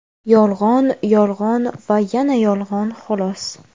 Yolg‘on, yolg‘on va yana yolg‘on, xolos.